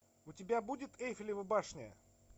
у тебя будет эйфелева башня